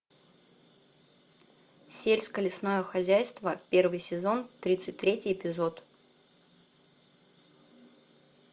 сельско лесное хозяйство первый сезон тридцать третий эпизод